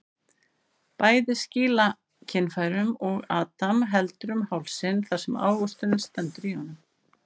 Bæði skýla kynfærunum og Adam heldur um hálsinn þar sem ávöxturinn stendur í honum.